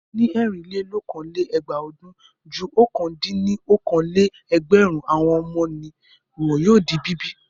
Ní ẹ̀rinlélokòó-lé-ẹgbàá ọdún, ju ọ̀kan-dín-ní-okòó-lé-ẹgbẹ̀rún àwọn ọmọ ni wọ́n yóò di bíbí.